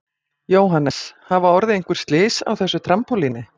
Jóhannes: Hafa orðið einhver slys á þessu trampólíni?